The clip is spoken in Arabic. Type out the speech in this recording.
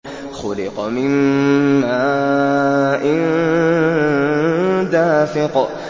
خُلِقَ مِن مَّاءٍ دَافِقٍ